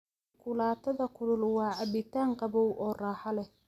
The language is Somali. Shukulaatada kulul waa cabitaan qabow oo raaxo leh.